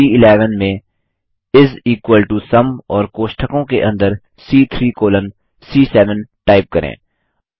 cell सी11 में इस इक्वल टो सुम और कोष्ठकों के अंदर सी3 कॉलन सी7 टाइप करें